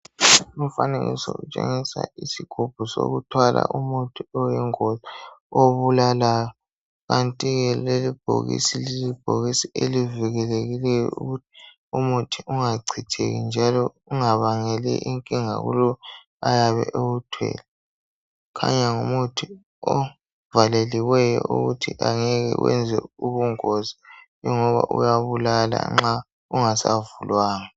Umfanekiso utshengisa isigubhu sokuthwala umuthi oyingozi obulalayo kanti ke leli bhokisi lilibhokisi elivikelekileyo ukuthi umuthi ungachitheki njalo ungabangeli inkinga kulowo oyabe ewuthwele. Kukhanya ngumuthi ovaleliweyo ukuthi angeke wenze ubungozi ingoba uyabulal nxa ungasavulwangwa.